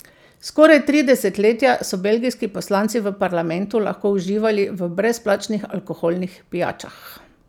Skoraj tri desetletja so belgijski poslanci v parlamentu lahko uživali v brezplačnih alkoholnih pijačah.